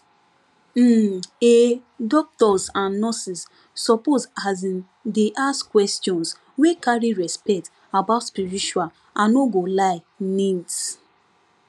um ehh doctors and nurses suppose asin dey ask questions wey carry respect about spiritual i no go lie needs